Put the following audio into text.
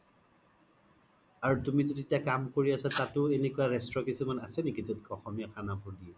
আৰু তুমি জ'ত এতিয়া কাম কৰি আছা তাতো এনেকুৱা ৰেষ্ট্ৰো কিছুমান আছে নেকি জ্'ত অসমীয়া খানা বোৰ দিয়ে ?